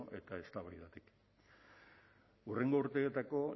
eta eztabaidatik hurrengo urteetako